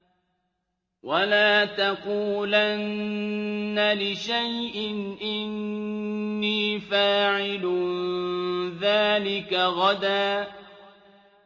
وَلَا تَقُولَنَّ لِشَيْءٍ إِنِّي فَاعِلٌ ذَٰلِكَ غَدًا